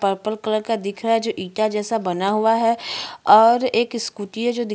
purple colour का दिख रहा है जो ईटा जैसा बना हुआ है और एक स्कूटी जो की --